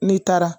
N'i taara